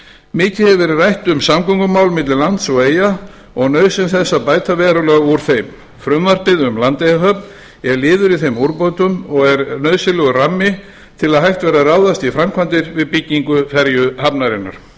mikið hefur verið rætt um samgöngumál milli lands og eyja og nauðsyn þess að bæta verulega úr þeim frumvarpið um landeyjahöfn er liður í þeim úrbótum og er nauðsynlegur rammi til að hægt verði að ráðast í framkvæmdir við byggingu ferjuhafnarinnar